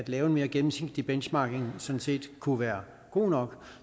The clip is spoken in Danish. lave en mere gennemsigtig benchmarking sådan set kunne være god nok